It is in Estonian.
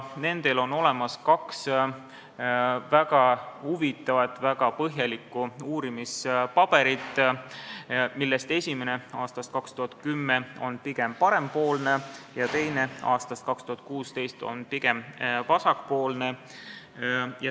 Nendel on olemas kaks väga huvitavat, väga põhjalikku uurimispaberit, millest esimene, aastast 2010, on pigem parempoolne ja teine, aastast 2016, on pigem vasakpoolne.